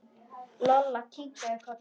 Lolla kinkaði kolli.